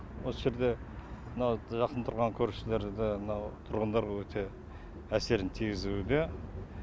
осы жерде мынау жақын тұрған көршілерді мынау тұрғындарға өте әсерін тигізуде